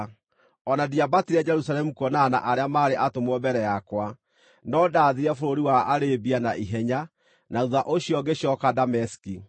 o na ndiambatire Jerusalemu kuonana na arĩa maarĩ atũmwo mbere yakwa, no ndathiire bũrũri wa Arabia na ihenya, na thuutha ũcio ngĩcooka Dameski.